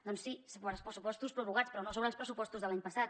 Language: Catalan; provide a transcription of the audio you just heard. doncs sí sobre els pressupostos prorrogats però no sobre els pressupostos de l’any passat